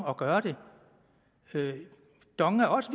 at gøre det dong er også